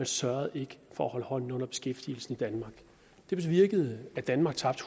sørgede ikke for at holde hånden under beskæftigelsen i danmark det bevirkede at danmark tabte